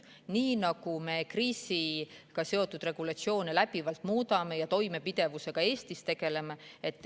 Me kriisiga seotud regulatsioone läbivalt muudame ja tegeleme toimepidevusega.